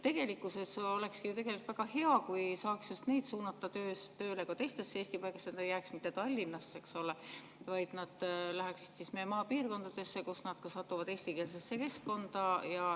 Oleks ju väga hea, kui saaks just neid suunata tööle ka teistesse Eesti paikadesse, et nad ei jääks mitte Tallinnasse, vaid läheksid meie maapiirkondadesse, kus nad satuksid eestikeelsesse keskkonda.